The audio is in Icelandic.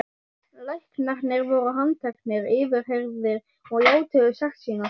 Læknarnir voru handteknir, yfirheyrðir og játuðu sekt sína.